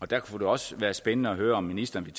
det kunne også være spændende at høre om ministeren vil